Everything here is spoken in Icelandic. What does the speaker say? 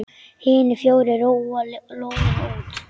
Hinir fjórir róa lóðina út.